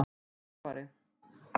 Dagfari